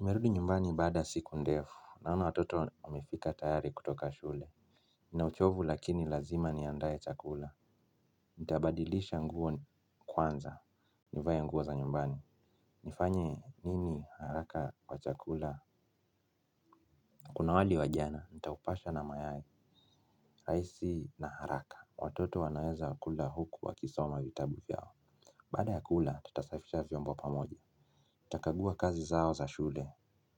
Nimerudi nyumbani baada ya siku ndefu, naona watoto wamefika tayari kutoka shule. Nina uchovu lakini lazima niandae chakula. Nitabadilisha nguo kwanza. Nivae nguo za nyumbani. Nifanye nini haraka kwa chakula? Kuna wali wa jana, nitaupasha na mayai, rahisi na haraka. Watoto wanaweza kula huku wakisoma vitabu vyao. Baada ya kula, tutasafisha vyombo pamoja. Nitakagua kazi zao za shule,